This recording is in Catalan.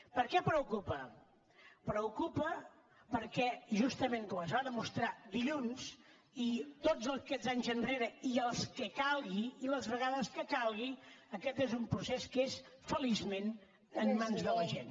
per què preocupa preocupa perquè justament com es va demostrar dilluns i tots aquests anys enrere i els que calgui i les vegades que calgui aquest és un procés que és feliçment en mans de la gent